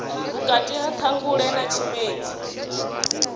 vhukati ha ṱhangule na tshimedzi